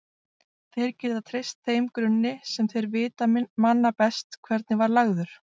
Þeir geta treyst þeim grunni sem þeir vita manna best hvernig var lagður.